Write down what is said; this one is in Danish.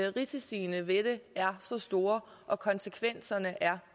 risiciene ved det er store og konsekvenserne er